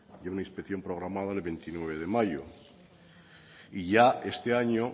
y a una inspección programada el veintinueve de mayo y yo este año